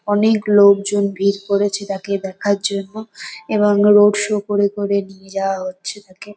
অনেক লোকজন ভিড় করেছে তাকে দেখার জন্য এবং রোড শো করে করে নিয়ে যাওয়া হচ্ছে তাকে।